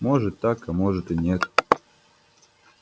может так а может и нет